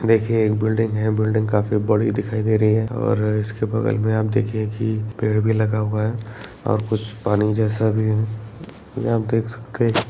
देखिये एक बिल्डिंग है बिल्डिंग काफी बड़ी दिखाई दे रही है और इसके वगल में आप देखिए की पेड़ भी लगा हुआ है और कुछ पानी जैसा भी है आप देख सकते --